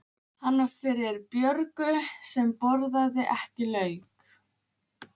Hann var fyrir Björgu sem borðaði ekki lauk.